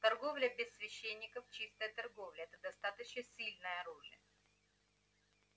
торговля без священников чистая торговля это достаточно сильное оружие